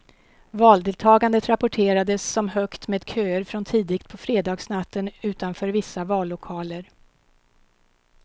Valdeltagandet rapporterades som högt med köer från tidigt på fredagsnatten utanför vissa vallokaler.